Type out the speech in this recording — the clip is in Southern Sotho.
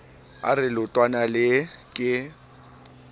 a re leotwana lee ke